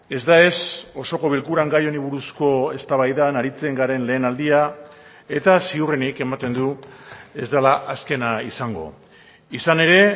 ez da ez osoko bilkuran gai honi buruzko eztabaidan aritzen garen lehen aldia eta ziurrenik ematen du ez dela azkena izango izan ere